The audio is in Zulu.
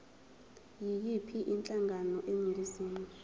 yiyiphi inhlangano eningizimu